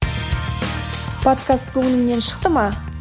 подкаст көңіліңнен шықты ма